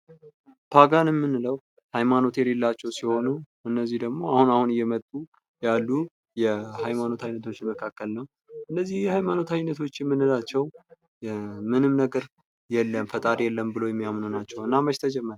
ፓጋን የምንለው ሃይማኖት የለላቸው ሲሆኑ እነዚህ ደግሞ አሁን አሁን እየመጡ ያሉ የሃይማኖት አይነቶች መካከል ነው። እነዚህ የሃይማኖት አይነቶች የምንላቸው ምንም ነገር የለም ፈጣሪ የለም ብለው የሚያምኑ ናቸው። እና መች ተጀመረ?